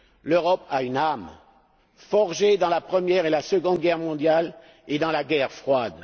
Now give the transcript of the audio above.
L'Europe a une âme, forgée pendant la Première et la Seconde Guerres mondiales et pendant la guerre froide.